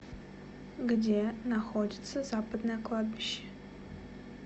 где находится западное кладбище